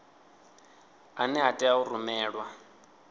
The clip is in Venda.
ane a tea u rumelwa